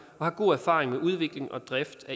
og har god erfaring med udvikling og drift af